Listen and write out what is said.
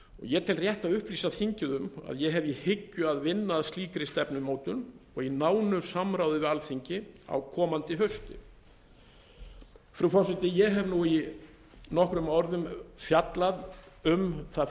ég tel rétt að upplýsa þingið um að ég hef í hyggju að vinna að slíkri stefnumótun og í nánu samráði við alþingi á komandi hausti frú forseti ég hef nú í nokkrum orðum fjallað um það